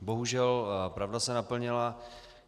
Bohužel pravda se naplnila.